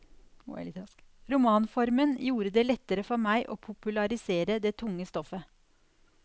Romanformen gjorde det lettere for meg å popularisere det tunge stoffet.